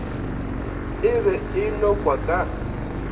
e be e nokwa ka